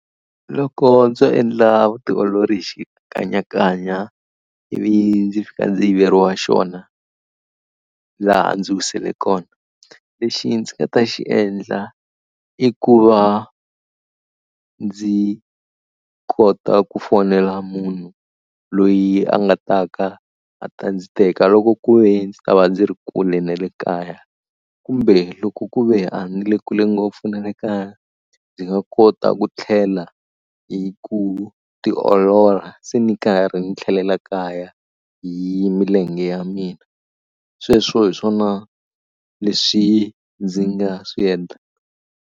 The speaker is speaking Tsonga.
Loko ndzo endla vutiolori hi xikanyakanya ivi ndzi fika ndzi yiveriwa xona laha a ndzi wisile kona lexi ndzi nga ta xi endla i ku va a ndzi kota ku fonela munhu loyi a nga taka a ta ndzi teka loko ku ve ndzi ta va ndzi ri kule na le kaya kumbe loko ku ve a ni le kule ngopfu na le kaya ndzi nga kota ku tlhela hi ku tiolola se ni karhi ni tlhelela kaya hi milenge ya mina. Sweswo hi swona leswi ndzi nga swi endlaka.